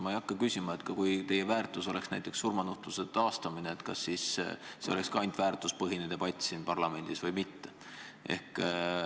Ma ei hakka küsima, et kui teie väärtus oleks näiteks surmanuhtluse taastamine, siis kas see oleks samuti ainult väärtuspõhine debatt siin parlamendis või mitte.